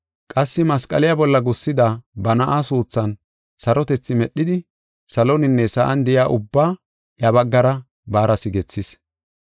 Qassi masqaliya bolla gussida ba na7aa suuthan sarotethi medhidi saloninne sa7an de7iya ubbaa iya baggara baara sigethis.